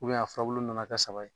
a furabulu nana kɛ saba ye